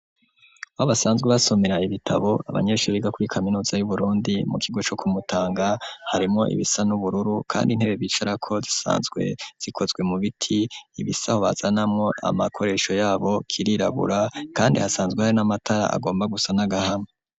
Aho babasanzwe basomera ibitabo abanyeshuriga kuri kaminuza yu Burundi mu kigo co ku Mutanga harimwo ibisa n'ubururu kandi intebe bicarako zisanzwe zikozwe mu biti ibisaho hazanamwo amakoresho yabo kirirabura kandi hasanzwe hari n'amatara agomba gusa n'agahama.